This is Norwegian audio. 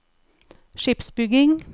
skipsbygging